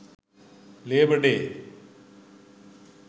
labour day